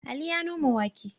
Ali ya noma wake.